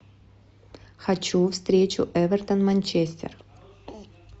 хочу встречу эвертон манчестер